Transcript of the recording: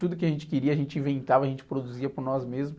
Tudo que a gente queria, a gente inventava, a gente produzia por nós mesmos.